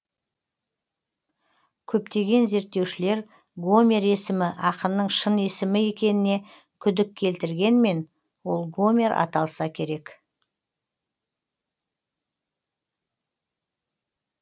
көптеген зерттеушілер гомер есімі ақынның шын есімі екеніне күдік келтіргенмен ол гомер аталса керек